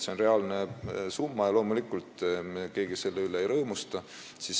See on reaalne summa ja loomulikult me keegi selle üle ei rõõmusta.